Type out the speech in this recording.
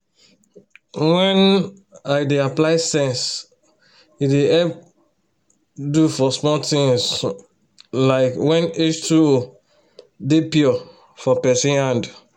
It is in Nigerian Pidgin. wen um i dey apply sense e dey help dof for small things um like wen h2o dey pure for person hand um